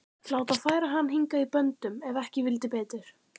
Láta færa hann hingað í böndum ef ekki vildi betur.